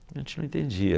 A gente não entendia.